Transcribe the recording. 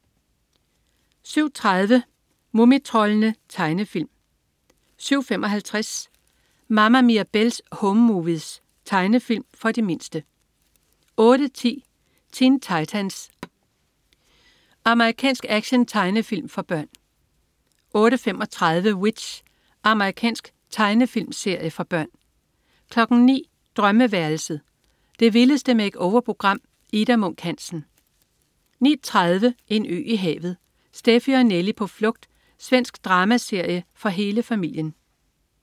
07.30 Mumitroldene. Tegnefilm 07.55 Mama Mirabelle's Home Movies. Tegnefilm for de mindste 08.10 Teen Titans. Amerikansk actiontegnefilm for børn 08.35 W.i.t.c.h. Amerikansk tegnefilmserie for børn 09.00 Drømmeværelset. Det vildeste make-over-program. Ida Munk Hansen 09.30 En ø i havet. Steffi og Nelli på flugt. Svensk dramaserie for hele familien